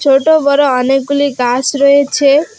ছোট বড় অনেকগুলি গাস রয়েছে।